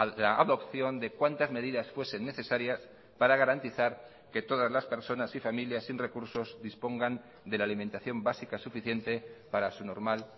la adopción de cuantas medidas fuesen necesarias para garantizar que todas las personas y familias sin recursos dispongan de la alimentación básica suficiente para su normal